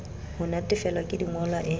ho natefelwa ke dingolwa e